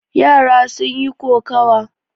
Yara sun yi kokawa.